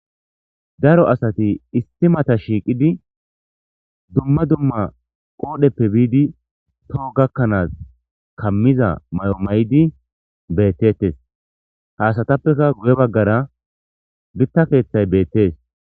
Daro asati issi mata shiiqidi dumma dumma qoodheppe biidi toho gakkanas kammiza mayo mayidi beetettees. Ha asatappe guye baggara gita keeththay beettees.